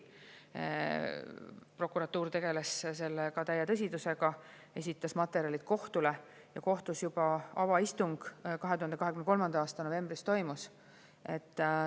Prokuratuur tegeles sellega täie tõsidusega, esitas materjalid kohtule ja kohtus juba avaistung 2023. aasta novembris toimus.